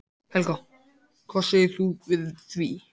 Helga: Hvað segir þú við því?